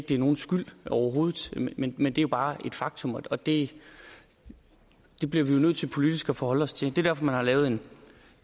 er nogens skyld men men det er bare et faktum og det bliver vi jo nødt til politisk at forholde os til det er derfor at man har lavet